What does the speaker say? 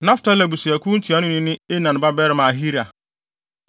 Naftali abusuakuw ntuanoni ne Enan babarima Ahira.”